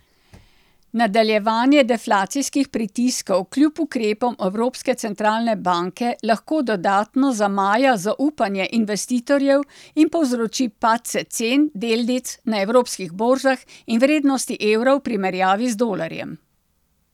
Nadaljevanje deflacijskih pritiskov kljub ukrepom Evropske centralne banke lahko dodatno zamaja zaupanje investitorjev in povzroči padce cen delnic na evropskih borzah in vrednosti evra v primerjavi z dolarjem.